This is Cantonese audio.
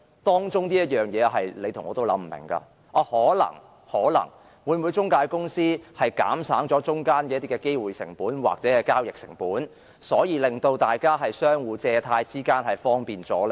當中的原因是你和我也想不通的，可能是透過中介公司會否減省一些機會成本或交易成本，因而令大家的借貸活動更為方便呢？